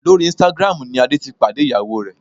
Lórí Instagram ni Adé ti pàdé ìyàwó rẹ̀